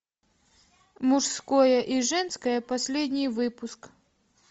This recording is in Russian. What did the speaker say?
мужское и женское последний выпуск